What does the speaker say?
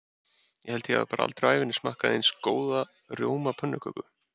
Ég held ég hafi bara aldrei á ævinni smakkað eins góða rjómapönnuköku.